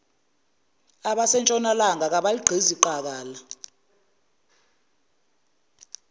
asentshonalanga kabaligqizi qakala